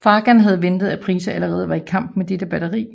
Fagan havde ventet at Price allerede var i kamp med dette batteri